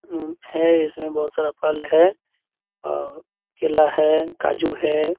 है इसमें बहुत सारा फल है केला है काजू है।